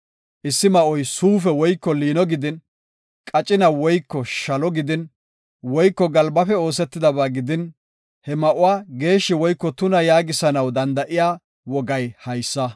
Issi ma7oy suufe woyko liino gidin, qacina woyko shalo gidin, woyko galbafe oosetidaba gidin, he ma7uwa geeshshi woyko tuna yaagisanaw danda7iya wogay haysa.